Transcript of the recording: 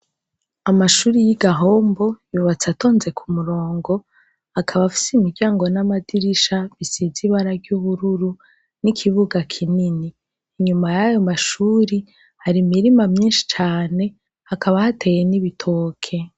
Amashure yigahombo yubatse atonze kumurongo akaba afise imiryango namadirisha bisize ibara ryubururu ni ikibuga kinini inyuma yayo mashuri hari imirima nyinshi cane hakaba hateye nibitoke